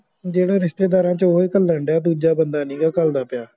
ਜਿਹੜੇ ਰਿਸ਼ਤੇਦਾਰਾਂ ਚ ਉਹ ਹੀ ਘੱਲਣ ਡਿਆ, ਦੂਜਾ ਬੰਦਾ ਨਹੀਂ ਗਾ ਘੱਲਦਾ ਪਿਆ